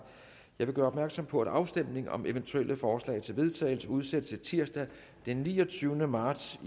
vil gøre opmærksom på at afstemning om eventuelle forslag til vedtagelse udsættes til tirsdag den niogtyvende marts